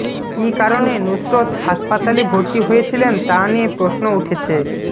কী কারণে নুসরত হাসপাতালে ভর্তি হয়েছিলেন তা নিয়ে প্রশ্ন উঠেছে